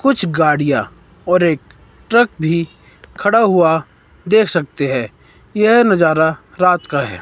कुछ गाड़ियां और एक ट्रक भी खड़ा हुआ देख सकते हैं यह नजारा रात का है।